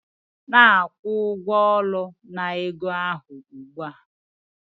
Na-akwụ ụgwọ ụlọ na ego ahụ ugbu a